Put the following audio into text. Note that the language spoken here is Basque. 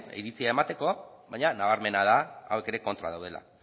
iritzia emateko baina nabarmena da hauek ere kontra daudela